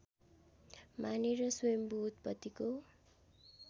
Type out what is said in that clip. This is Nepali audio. मानेर स्वयम्भू उत्पत्तिको